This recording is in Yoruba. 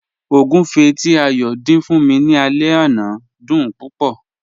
Ọ̀gúnfẹ̀ tí Ayọ́ dín fún mí ní àlẹ̀ ọ̀nà dún púpọ̀.